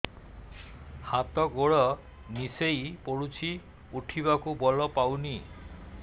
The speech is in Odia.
ହାତ ଗୋଡ ନିସେଇ ପଡୁଛି ଉଠିବାକୁ ବଳ ପାଉନି